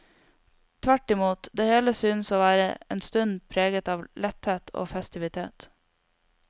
Tvertimot, det hele synes å være en stund preget av letthet og festivitet.